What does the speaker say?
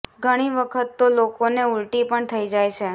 ઘણી વખત તો લોકોને ઉલટી પણ થઈ જાય છે